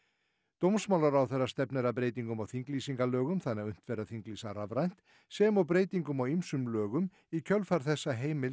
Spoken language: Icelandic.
dómsmálaráðherra stefnir að breytingum á þinglýsingalögum þannig að unnt verði að þinglýsa rafrænt sem og breytingum á ýmsum lögum í kjölfar þess að heimild